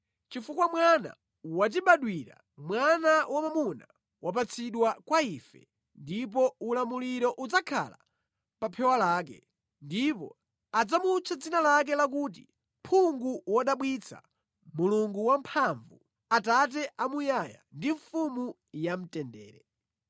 Chifukwa mwana watibadwira, mwana wamwamuna wapatsidwa kwa ife, ndipo ulamuliro udzakhala pa phewa lake. Ndipo adzamutcha dzina lake lakuti Phungu Wodabwitsa, Mulungu Wamphamvu, Atate Amuyaya, ndi Mfumu ya Mtendere.